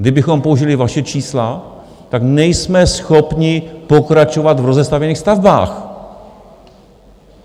Kdybychom použili vaše čísla, tak nejsme schopni pokračovat v rozestavěných stavbách.